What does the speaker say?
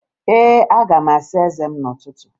Ee, aga m asa eze m n'ụtụtụ